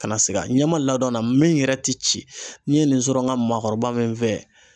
Ka na siga ɲama ladɔn na min yɛrɛ tɛ ci n'i ye nin sɔrɔ n ka maakɔrɔba min fɛ